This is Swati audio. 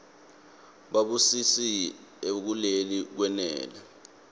babusile kuleli kwenele